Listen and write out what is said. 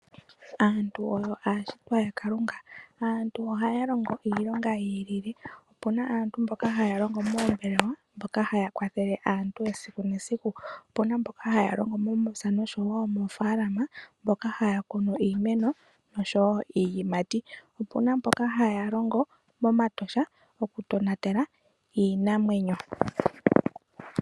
Aantu oyo aashitwa yaKalunga. Aantu ohaya longo iilonga yi ilile. Opu na aantu mboka haya longo moombelewa mboka haya kwathele aantu esiku nesiku. Opu na mboka haya longo momapya nomoofaalama mboka haya kunu iimeno nosho wo iiyimati. Opu na mboka haya longo mOmatosha okutonatela iinamwenyo.